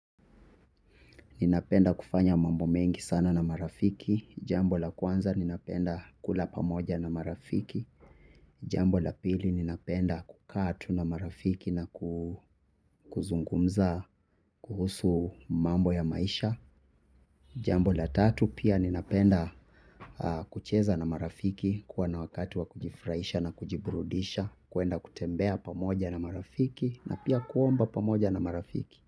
Ninapenda kufanya mambo mengi sana na marafiki, jambo la kwanza ninapenda kula pamoja na marafiki, jambo la pili ninapenda kukaa tu na marafiki na kuzungumza kuhusu mambo ya maisha, jambo la tatu pia ninapenda kucheza na marafiki kuwa na wakati wa kujifurahisha na kujiburudisha, kuenda kutembea pamoja na marafiki na pia kuomba pamoja na marafiki.